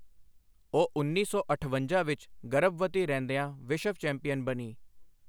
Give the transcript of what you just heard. ਉਹ ਉੱਨੀ ਸੌ ਅਠਵੰਜਾ ਵਿੱਚ ਗਰਭਵਤੀ ਰਹਿੰਦਿਆਂ ਵਿਸ਼ਵ ਚੈਂਪੀਅਨ ਬਣੀ।